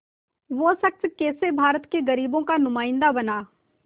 वो शख़्स कैसे भारत के ग़रीबों का नुमाइंदा बना